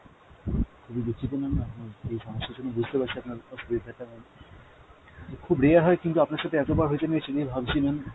খুবই দুঃখিত ma'am আপনার এই সমস্যার জন্য, বুঝতে পারছি আপনার অসুবিধাটা আমি। খুব rare হয় কিন্তু আপনার সাথে এত বার হয়েছে আমি এটা নিয়ে ভাবছি ma'am,